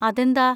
അതെന്താ?